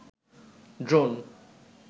drone